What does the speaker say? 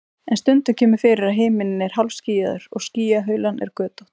en stundum kemur fyrir að himinninn er hálfskýjaður og skýjahulan er götótt